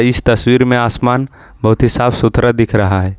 इस तस्वीर में आसमान बहुत ही साफ सुथरा दिख रहा है।